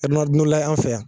Ronaldinho layɛ an' fɛ yan